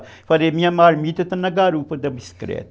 Eu falei, minha marmita está na garupa da biscreta.